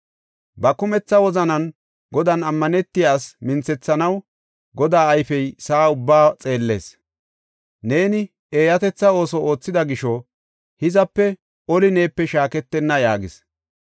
Ba kumetha wozanan Godan ammanetiya asi minthethanaw Godaa ayfey sa7aa ubbaa xeellees. Neeni eeyatetha ooso oothida gisho hizape oli neepe shaaketenna” yaagis.